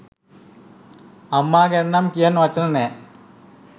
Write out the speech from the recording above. අම්මා ගැනනම් කියන්න වචන නෑ !